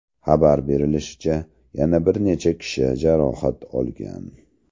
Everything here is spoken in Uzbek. Xabar berilishicha, yana bir necha kishi jarohat olgan.